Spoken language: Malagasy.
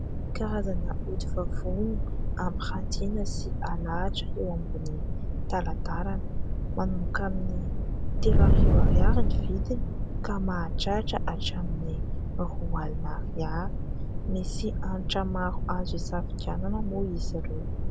Karazana hodi-vavony ampirantiana sy alahatra eo ambonin'ny talatalana. Manomboka amin'ny telo arivo ariary ny vidiny ka mahatratra hatramin'ny roa alina ariary. Misy antra azo isafidianana moa izy ireo.